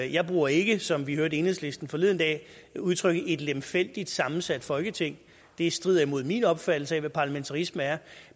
jeg bruger ikke som vi hørte enhedslisten forleden dag udtrykket et lemfældigt sammensat folketing det strider imod min opfattelse af hvad parlamentarisme er